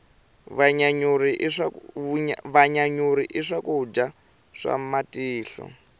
vanyanyuri i swakudya swa matihlo